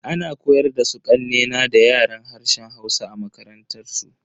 Ana koyar da su kanne na da Yaren harshen Hausa a makarantansu.